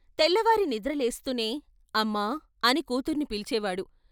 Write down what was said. తెల్లవారి నిద్ర లేస్తూనే ' అమ్మా ' అని కూతుర్ని పిలిచేవాడు.